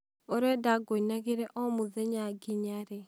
ũrenda ngũinagire o mũthenya nginya rĩ?